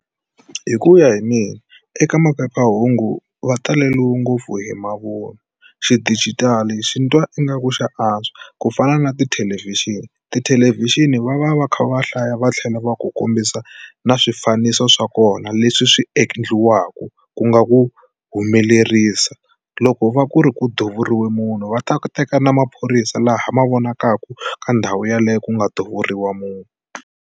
Hi ku ya hi mina eka maphephahungu va taleliwe ngopfu hi mavun'wa xidijitali ni twa ingaku xa antswa ku fana na tithelevhixini, tithelevhixini va va va kha va hlaya va tlhela va ku kombisa na swifaniso swa kona leswi swi endliwaka ku nga ku humelerisa loko u va ku ri ku duvuriwe munhu va ta teka na maphorisa laha ma vonakaka ka ndhawu yeleyo ku nga duvuriwa munhu.